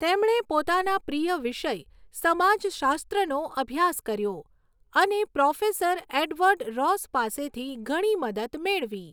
તેમણે પોતાના પ્રિય વિષય, સમાજશાસ્ત્રનો અભ્યાસ કર્યો અને પ્રોફેસર એડવર્ડ રોસ પાસેથી ઘણી મદદ મેળવી.